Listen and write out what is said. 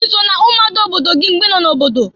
I so na-umuada obodo gị mgbe ị nọ n'obodo?